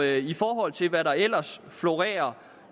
i forhold til hvad der ellers florerer